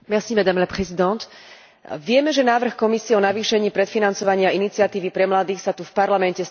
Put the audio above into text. Vieme, že návrh Komisie o navýšení predfinancovania iniciatívy pre mladých sa tu v Parlamente stretol s významnou podporou.